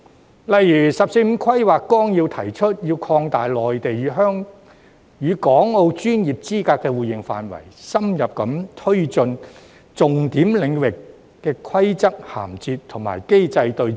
舉例而言，《十四五規劃綱要》提出，要擴大內地與港澳專業資格互認範圍，深入推進重點領域的規則銜接和機制對接。